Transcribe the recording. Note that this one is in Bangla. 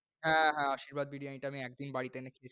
হ্যাঁ হ্যাঁ, আশীর্বাদ বিরিয়ানিটা আমি একদিন বাড়িতে এনে,